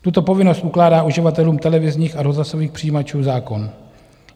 Tuto povinnost ukládá uživatelům televizních a rozhlasových přijímačů zákon.